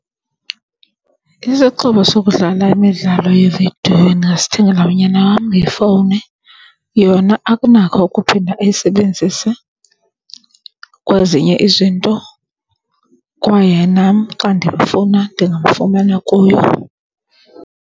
Isixhobo sokudlala imidlalo yevidiyo endingasithengela unyana wam yifowuni. Yona akanako ukuphinda ayisebenzise kwezinye izinto kwaye nam xa ndimfuna ndingamfumana kuyo.